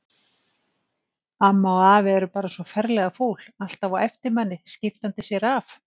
Amma og afi eru bara svo ferlega fúl, alltaf á eftir manni, skiptandi sér af.